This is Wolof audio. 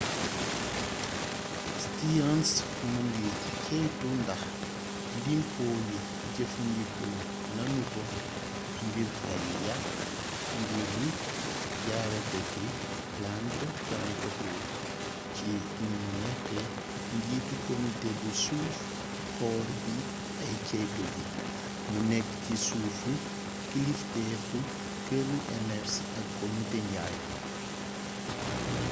stearns mu ngi ceytu ndax limpo yi jëffandikoo nanu ko ngir fay yàkk njur yi jaare ko ci planned parenthood ci ni mu nekkee njiitu komite bi suuf xool bi ak ceytu gi mu nekk ci suufu kilifteteef këru enersi ak komite njaay